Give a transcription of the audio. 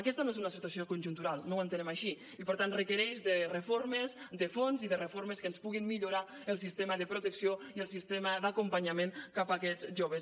aquesta no és una situació conjuntural no ho entenem així i per tant requereix reformes de fons i reformes que puguin millorar el sistema de protecció i el sistema d’acompanyament d’aquests joves